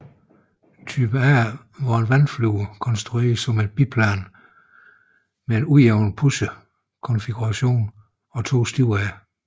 Type A var et vandflyver konstrueret som et biplan med en ujævn pusher konfiguration og to stivere